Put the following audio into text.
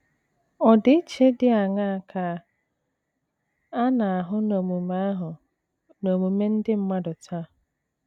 Ọdịiche dị aṅaa ka a na - ahụ n’omume - ahụ n’omume ndị mmadụ taa?